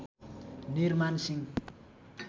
निर मान सिंह